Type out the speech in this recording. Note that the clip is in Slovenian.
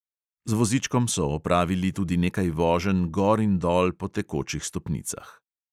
Z vozičkom so opravili tudi nekaj voženj gor in dol po tekočih stopnicah.